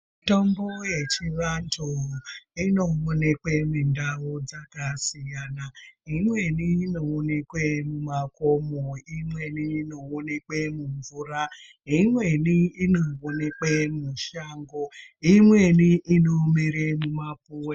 Mitombo yechivantu, inowonekwe mundau dzakasiyana, imweni inowonekwe mumakomo, imweni inowonekwe mumvura, imweni inowonekwe mushango, imweni inomere mumapuwe.